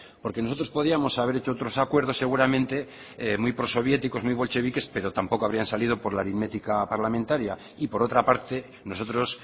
porque nosotros podíamos haber hecho otros acuerdos seguramente muy pro soviéticos muy bolcheviques pero tampoco habrían salido por la aritmética parlamentaria y por otra parte nosotros